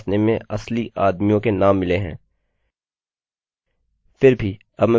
फिर भी अब मैं बिलकुल पूरी तरह से क्रम रहित नाम टाइप करूँगा